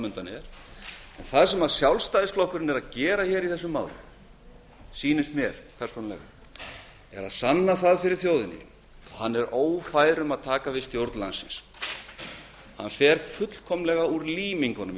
undan er en það sem sjálfstæðisflokkurinn er að gera í þessu máli sýnist mér er að sanna það fyrir þjóðinni að hann er ófær um að taka við stjórn landsins hann fer fullkomlega úr límingunum í þessu